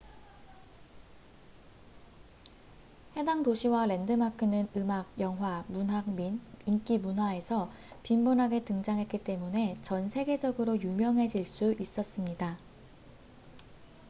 해당 도시와 랜드마크는 음악 영화 문학 및 인기 문화에서 빈번하게 등장했기 때문에 전 세계적으로 유명해질 수 있었습니다